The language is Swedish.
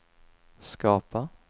skapa